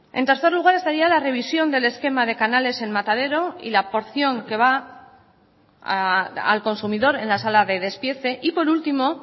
en tercer lugar estaría la revisión del esquema de canales en matadero y la porción que va al consumidor en la sala de despiece y por último